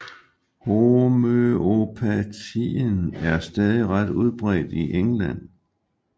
Homøopatien er stadig ret udbredt i England